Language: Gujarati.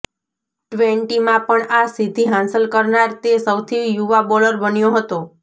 ટ્વેન્ટીમાં પણ આ સિદ્ધિ હાંસલ કરનાર તે સૌથી યુવા બોલર બન્યો હતો